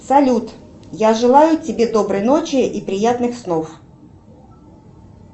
салют я желаю тебе доброй ночи и приятных снов